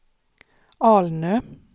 Alnö